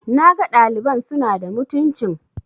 na ga ɗaliban suna da mutuncin